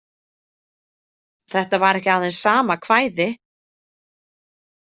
Þetta var ekki aðeins sama kvæði.